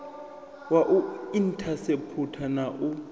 wa u inthaseputha na u